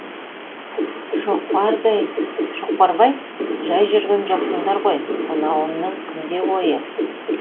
шоқпарбай жай жүрген жоқсыңдар ғой мынауыңның кімде ойы